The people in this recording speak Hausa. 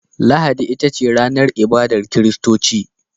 Lahadi ita ce ranar ibadar kiristoci.